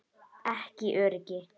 Ekki öryggi.